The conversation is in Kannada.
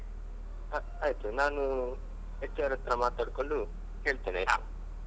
ಹ ಆಯ್ತು ನಾನೂ HR ಹತ್ರ ಮಾತಾಡ್ಕೊಂಡು ಹೇಳ್ತೇನ್ ಆಯ್ತಾ.